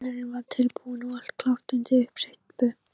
Grunnurinn var tilbúinn og allt klárt undir uppsteypu.